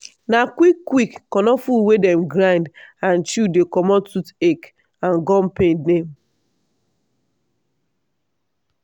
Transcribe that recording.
na quick quick konofuru wey dem grind and chew dey comot tooth ache and gum pain dem.